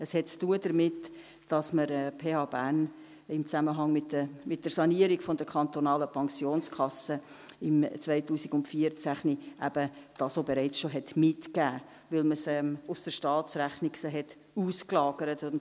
Es hat damit zu tun, dass man dies der PH Bern im Zusammenhang mit der Sanierung der kantonalen Pensionskasse im Jahr 2014 auch bereits mitgegeben hatte, weil man sie aus der Staatsrechnung ausgelagert hatte.